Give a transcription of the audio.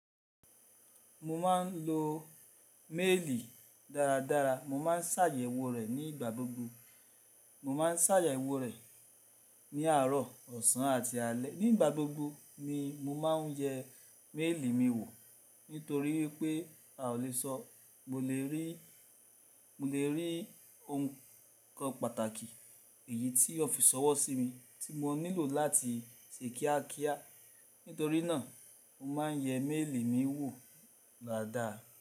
Mo máa ń lo méèlì dáradára, mo ma ń ṣàyẹ̀wò rẹ̀ nígbà gbogbo. Mo ma ń ṣàyẹ̀wò rẹ̀ ní àárọ̀, ọ̀sán àti alẹ́. Nígbà gbogbo ni mo ma ń yẹ méèlì mi wò nítorí pé a ò le sọ mo le rí, mo le rí nǹkan pàtàkì èyí tí ó fi ṣọwọ́ sí mi tí mo nílò láti ṣe kíákíá. Nítorí náà mo ma ń yẹ méèlì mi wò dádàá.